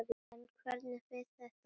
En hvernig fer þetta fram?